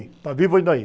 E está vivo ainda aí.